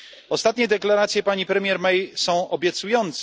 Ostatnie deklaracje pani premier May są obiecujące.